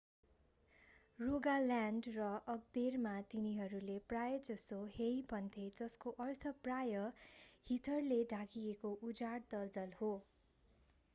Rogaland र आगदेरमा तिनीहरूले प्रायजसो हेई भन्थे जस्को अर्थ प्राय हिथरले ढाकिएको उजाड दलदल हो